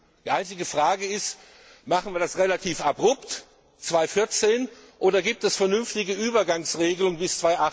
Die einzige Frage ist Machen wir das relativ abrupt, 2014, oder gibt es vernünftige Übergangsregelungen bis